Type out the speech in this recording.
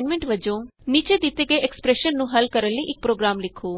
ਇਕ ਅਸਾਈਨਮੈਂਟ ਵਜੋਂ ਨੀਚੇ ਦਿਤੇ ਐਕਸਪਰੈਸ਼ਨ ਨੂੰ ਹਲ ਕਰਨ ਲਈ ਇਕ ਪ੍ਰੋਗਰਾਮ ਲਿਖੋ